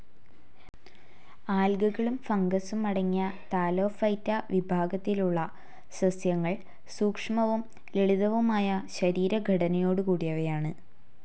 ആൽഗകളും ഫംഗസും അടങ്ങിയ താലോഫൈറ്റ വിഭാഗത്തിലുള്ള സസ്യങ്ങൾ സൂക്ഷ്മവും ലളിതവുമായ ശരീരഘടനയോടുകൂടിയവയാണ്.